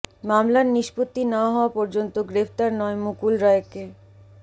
মামলার নিষ্পত্তি না হওয়া পর্যন্ত গ্রেফতার নয় মুকুল রায়কে